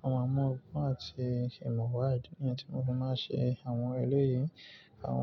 wọ́n máa mu ogbón àti ìmọ̀ wà idi niyen tí mo fi máa n ṣe àwọn eléyìí àwọn.